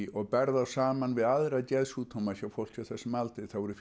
og berð þá saman við aðra geðsjúkdóma hjá fólki á þessum aldri þá eru